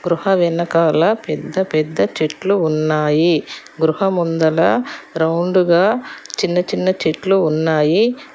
గృహ వెనకాల పెద్ద పెద్ద చెట్లు ఉన్నాయి గృహ ముందర రౌండ్ గా చిన్న చిన్న చెట్లు ఉన్నాయి.